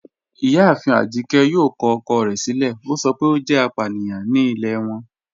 Ìyáàfín Ajíkẹ̀ yóò kọ ọ̀kọ̀ rẹ̀ silẹ̀, o sọ pé o jẹ́ àpàníyàn ní ilẹ̀ wọn